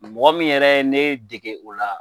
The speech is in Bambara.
Mɔgɔ min yɛrɛ ye ne dege o la